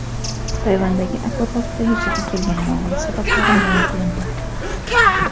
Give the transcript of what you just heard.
Tayvandagi akvaparkda yuzaga kelgan yong‘in sabablari ma’lum qilindi.